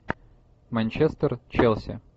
манчестер челси